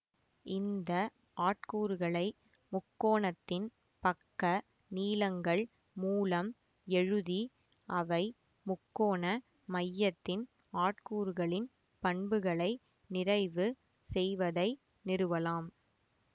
இந்த ஆட்கூறுகளை முக்கோணத்தின் பக்க நீளங்கள் மூலம் எழுதி அவை முக்கோண மையத்தின் ஆட்கூறுகளின் பண்புகளை நிறைவு செய்வதை நிறுவலாம்